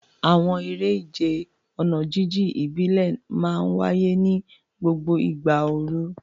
Àwọn eré ìje ọ̀nà jíjìn ìbílẹ̀ máa ń wáyé ní gbogbo ìgbà ooru.